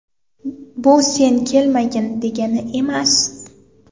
Bu sen kelmagin, degani emas.